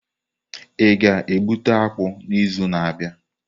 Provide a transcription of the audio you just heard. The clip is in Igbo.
A ga-egbute akpu n'izu na-abịa?